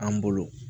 An bolo